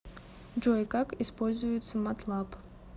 джой как используется матлаб